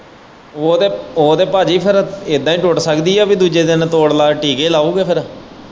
ਉਹ ਤੇ ਭਾਜੀ ਫੇਰ ਇੱਦਾ ਹੀ ਟੁੱਟ ਸਕਦੀ ਏ ਕਿ ਦੂਜੇ ਦਿਨ ਤੋੜ ਲੈ ਟੀਕੇ ਲਾਓਗਾ ਫੇਰ।